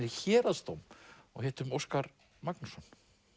í Héraðsdóm og hittum Óskar Magnússon